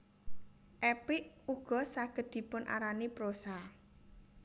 Epik ugo saged dipun arani prosa